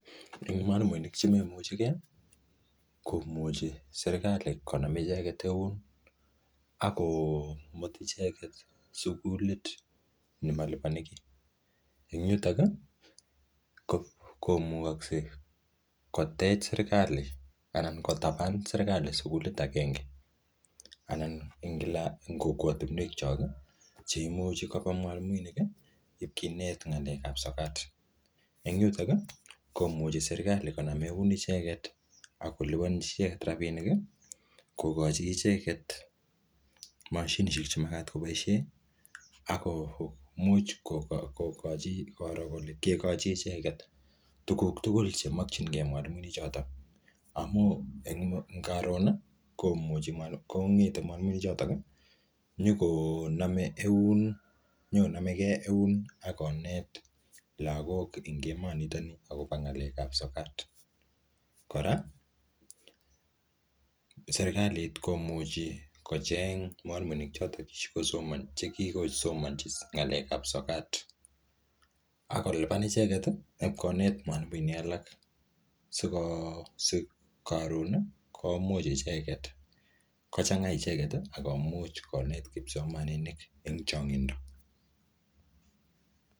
Eng mwalimuinik che memuchike, komuchi serikali konam icheket eun, ako mut icheket sukulit nemalipani kiy. Eng yutok, ko-komugakse kotech serikali anan kotaban serikali sukulit agenge. Anan ing kila, eng kokwotunwek chok, che imuchi koba mwalimuinik, ipkinet ng'alek ap sokat. Eng yutok, komuchi serikali konam eun icheket, akolipanchi icheket rabinik, kokochi icheket mashinishek che magat koboisie, akomuch koko-kokochi koro kekochi icheket tuguk tugul chemakchinke mwalimuinik chotok. Amu eng karon, komuchi mwalimuinik, kong'ete mwalimuinik chotok, nyikoname eun, nyikonameke eun ak konet lagok ing emot nitoni akobo ng'alek ap sokat. Kora, serikalit komuchi kocheng mwalimuinik chotok che kikosoman che kikosomanchi ng'alek ap sokat. Akolipan icheet, ipkonet mwalimuinik alak. Siko si karon, komuch icheket kochanga icheket, akomuch konet kipsomaninik eng changindo.